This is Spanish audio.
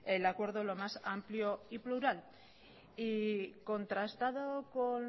el acuerdo lo más amplio y plural y contrastado con